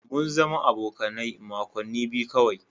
Mun zama abokane makoni biyu kawai.